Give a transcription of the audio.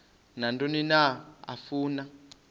nantoni na afuna